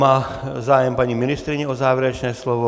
Má zájem paní ministryně o závěrečné slovo?